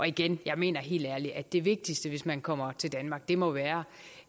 igen jeg mener helt ærligt at det vigtigste hvis man kommer til danmark må være